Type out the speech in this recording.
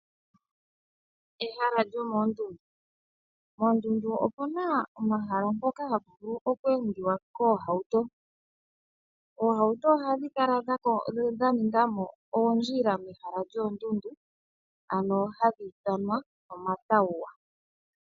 Ehala lyomoondundu. Moondundu opuna omahala mpoka hapu vulu oku endiwa koohauto. Oohauto ohadhi kala dha ninga mo oondjila mehala lyoondundu ano hali ithanwa omatawuwa.